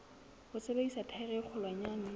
ho sebedisa thaere e kgolwanyane